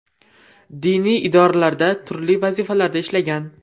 Diniy idoralarda turli vazifalarda ishlagan.